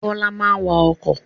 Bọlá máa ń wà ọkọ̀